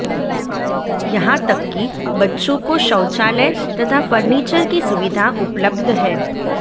यहां तक कि बच्चों को शौचालय तथा फर्नीचर की सुविधा उपलब्ध है